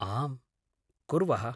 आम्, कुर्वः।